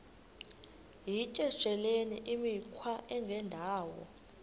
yityesheleni imikhwa engendawo